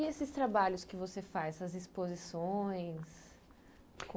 E esses trabalhos que você faz, essas exposições?